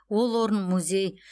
ол орын музей